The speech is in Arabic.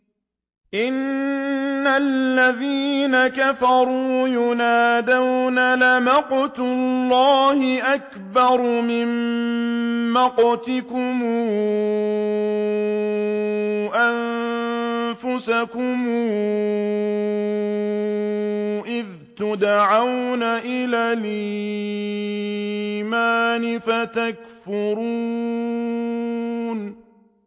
إِنَّ الَّذِينَ كَفَرُوا يُنَادَوْنَ لَمَقْتُ اللَّهِ أَكْبَرُ مِن مَّقْتِكُمْ أَنفُسَكُمْ إِذْ تُدْعَوْنَ إِلَى الْإِيمَانِ فَتَكْفُرُونَ